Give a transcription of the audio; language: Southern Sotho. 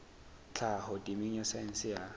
tlhaho temeng ya saense ya